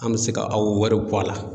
An me se ka a o wariw bɔ a la